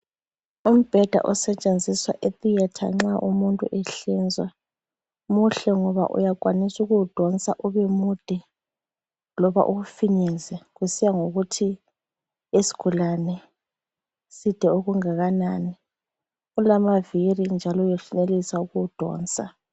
Umbheda osetshenziswa etheatre nxa umuntu ehlinzwa, muhle ngoba uyakwanisa ukuwudonsa ubemude loba uwufinyeze kusiyangokuthi isigulane side okungakanani. Ulamaviri njalo uyenelisa ukuwudonsa.